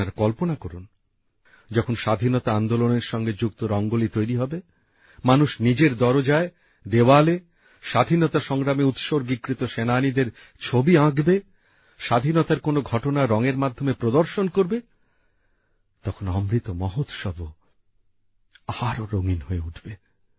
আপনারা কল্পনা করুন যখন স্বাধীনতা আন্দোলনের সঙ্গে যুক্ত রঙ্গোলি তৈরি হবে মানুষ নিজের দরজায় দেওয়ালে স্বাধীনতা সংগ্রামে উৎসর্গীকৃত সেনানীদের ছবি আঁকবে স্বাধীনতার কোন ঘটনা রংএর মাধ্যমে প্রদর্শন করবে তখন অমৃত মহোৎসবও আরো রঙিন হয়ে উঠবে